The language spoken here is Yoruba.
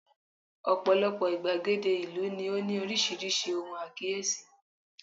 ọpọlọpọ igbagede ìlú ni o ni orísirísi ohun akiyesi